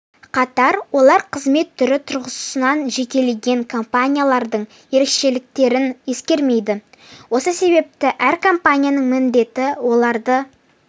қатар олар қызмет түрі тұрғысынан жекелеген компаниялардың ерекшеліктерін ескермейді осы себепті әр компанияның міндеті оларды